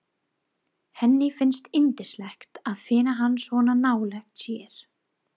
Henni finnst yndislegt að finna hann svona nálægt sér.